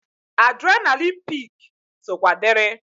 Adrenalịn pik sokwa diri.